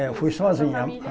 É, eu fui sozinho. Sua família